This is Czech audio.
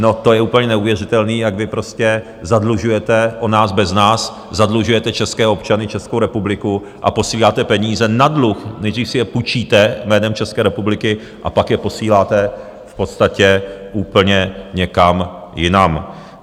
No, to je úplně neuvěřitelný, jak vy prostě zadlužujete, o nás bez nás zadlužujete české občany, Českou republiku, a posíláte peníze na dluh, nejdřív si je půjčíte jménem České republiky a pak je posíláte v podstatě úplně někam jinam.